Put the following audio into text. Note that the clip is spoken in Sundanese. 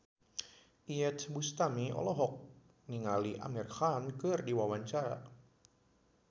Iyeth Bustami olohok ningali Amir Khan keur diwawancara